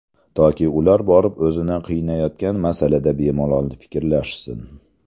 Toki ular borib o‘zini qiynayotgan masalada bemalol fikrlashsin.